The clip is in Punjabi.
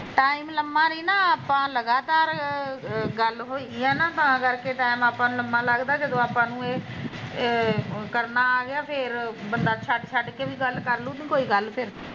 ਟੈਮ ਲਮਾਂ ਨੀ ਨਾ ਆਪਾਂ ਲਗਾਤਾਰ ਗੱਲ ਹੋਏਗੀ ਹੈਨਾ ਤਾਂ ਕਰਕੇ ਟੈਮ ਆਪਾਂ ਨੂੰ ਲਮਾਂ ਲੱਗਦਾ ਜਦੋਂ ਆਪਾਂ ਨੂੰ ਏਹ ਕਰਨਾ ਆਗਿਆ ਬੰਦਾ ਛੱਡ ਛੱਡ ਕੇ ਵੀ ਗੱਲ ਕਰਲੂ ਤੇ ਕੋਈ ਗੱਲ ਨਿ ਫਿਰ